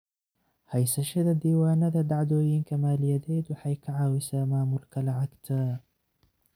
Haysashada diiwaannada dhacdooyinka maaliyadeed waxay ka caawisaa maamulka lacagta.